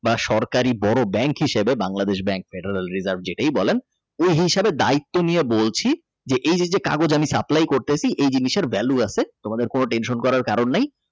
বা সরকারি বড় bank হিসাবে Bangladesh Bank material reserve যেটাই বলেন ওই হিসাবে দায়িত্ব নিয়ে বলছি এই যে যে কাগজ আমি Supply করতাছি এই জিনিসে ভ্যালু আছে তোমাদের কোন Tension করার কারণ নাই।